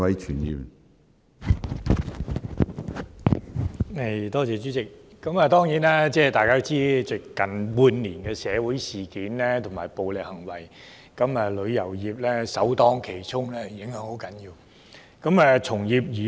主席，大家當然都知道近半年的社會事件及暴力行為令旅遊業首當其衝，受極大的影響。